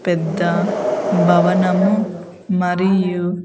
పెద్ద భనము మరియు--